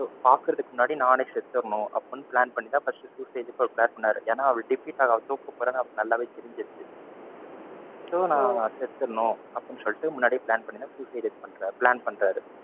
தாக்குறதுக்கு முன்னாடி நானே செத்துடணும் அப்படின்னு plan பண்ணி தான் first suicide க்கு அவர் plan பண்ணாரு. ஏன்னா அவருக்கு defeat அவர தூக்கப்போறாங்கன்னு அவருக்கு நல்லாவே தெரிஞ்சுருச்சு. so நான் செத்துடணும் அப்படின்னு சொல்லிட்டு முன்னாடியே plan பண்ணிட்டு தான suicide ஏ பண்றாரு, plan பண்றாரு.